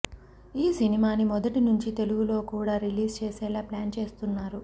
ఈ సినిమాని మొదటి నుంచీ తెలుగులో కూడా రిలీజ్ చేసేలా ప్లాన్ చేస్తున్నారు